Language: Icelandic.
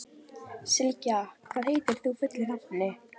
Sylgja, hvað heitir þú fullu nafni?